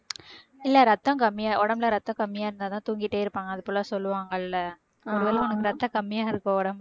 இல்லை ரத்தம் கம்மியா உடம்புல ரத்தம் கம்மியா இருந்தாதான் தூங்கிட்டே இருப்பாங்க அது போல சொல்லுவாங்கல்ல ஒருவேளை உனக்கு ரத்தம் கம்மியா இருக்கோ உடம்புல